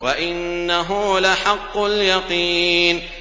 وَإِنَّهُ لَحَقُّ الْيَقِينِ